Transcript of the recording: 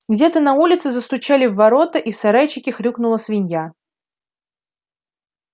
где-то на улице застучали в ворота и в сарайчике хрюкнула свинья